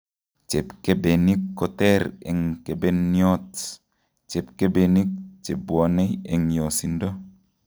Chepkebenik koter eng' kebeniot ,chepkebenik chebwone eng' yosindo